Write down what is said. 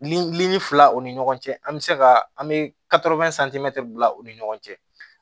fila o ni ɲɔgɔn cɛ an be se ka an be bila u ni ɲɔgɔn cɛ